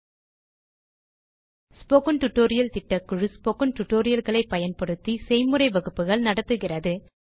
spoken tutorial திட்டக்குழு spoken tutorial களை பயன்படுத்தி செய்முறை வகுப்புகள் நடத்துகிறது